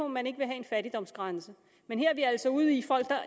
man ikke vil have en fattigdomsgrænse men her er vi altså ude i